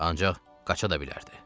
Ancaq qaça da bilərdi.